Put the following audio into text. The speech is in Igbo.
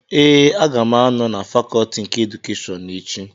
Ee, aga m anọ na fakọtị nke edukeshọn echi